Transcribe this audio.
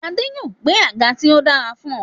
Adé yòó gbẹ́ àga tí ó dára fún ọ.